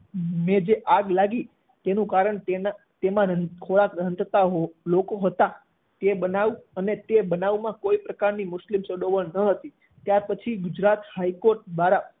મેં જે આગ લાગી તેનું કારણ તેના તેમાં રાન્તા રાંધતા લોકો હતા અને તે બનાવમાં અને તે બનાવમા કોઈ પ્રકારની મુસ્લિમ સંડોવણી ન હતી. ત્યાર પછી ગુજરાત હાઈ કોર્ટ દ્વારા